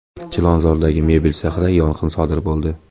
Chilonzordagi mebel sexida yong‘in sodir bo‘ldi.